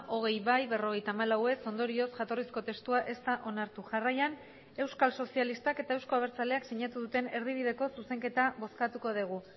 hogei bai berrogeita hamalau ez ondorioz jatorrizko testua ez da onartu jarraian euskal sozialistak eta euzko abertzaleak sinatu duten erdibideko zuzenketa bozkatuko dugu